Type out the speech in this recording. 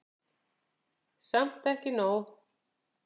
Samt ekki nóg.